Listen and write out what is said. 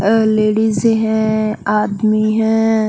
अ ladies है आदमी है।